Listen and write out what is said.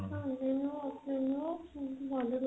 ହଁ ଯେ ମୁଁ ମୁଁ ଭଲ ରହୁଛି